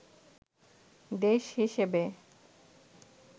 দেশ হিসেবে